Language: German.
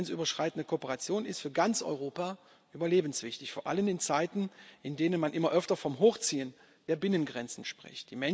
Grenzüberschreitende Kooperation ist für ganz Europa überlebenswichtig, vor allem in Zeiten, in denen man immer öfter vom Hochziehen der Binnengrenzen spricht.